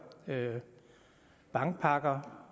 bankpakker